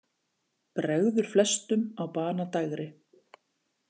Bregður flestum á banadægri.